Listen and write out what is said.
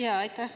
Aitäh!